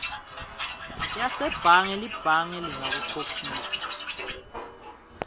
yasebhange libhange lingakukhokhisa